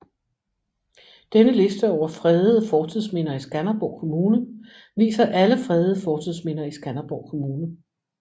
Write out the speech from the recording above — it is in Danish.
Denne liste over fredede fortidsminder i Skanderborg Kommune viser alle fredede fortidsminder i Skanderborg Kommune